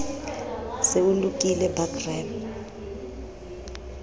se o lokile ba crime